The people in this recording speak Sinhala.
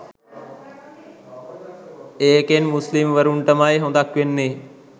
ඒකෙන් මුස්ලිම්වරුන්ටමයි හොඳක් වෙන්නේ